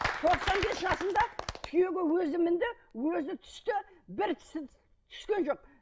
тоқсан бес жасында түйеге өзі мінді өзі түсті бір тісі түскен жоқ